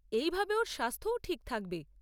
এই ভাবে ওর স্বাস্থ্যও ঠিক থাকবে।